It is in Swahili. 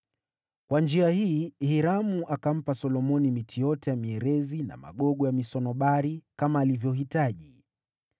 Kwa njia hii Hiramu akampa Solomoni miti yote ya mierezi na magogo ya misunobari kama alivyohitaji,